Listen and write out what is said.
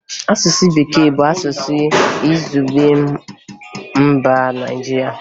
Asụsụ Bekee bụ asụsụ izugbe mba Nigeria